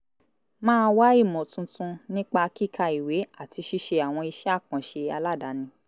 máa wá ìmọ̀ tuntun nípa kíka ìwé àti ṣíṣe àwọn iṣẹ́ àkànṣe aládani